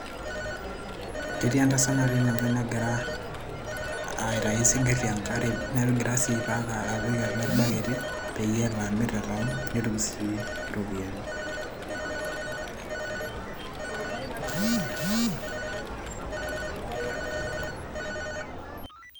ketii entasat natii ene wueji nagira aitai isinkirr tenkare negira sii ai pack apik atua irbaketi peyie elo amirr te town mnetum sii iropiyiani.